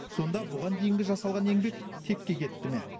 сонда бұған дейінгі жасалған еңбек текке кетті ме